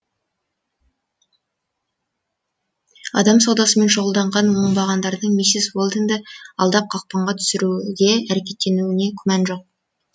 адам саудасымен шұғылданған оңбағандардың миссис уэлдонды алдап қақпанға түсіруге әрекеттенуіне күмән жоқ